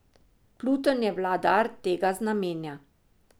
Pluton je vladar tega znamenja.